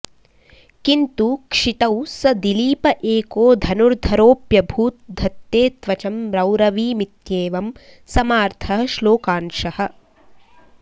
किन्तु क्षितौ स दिलीप एको धनुर्धरोऽप्यभूत् धत्ते त्वचं रौरवीमित्येवं समार्थः श्लोकांशः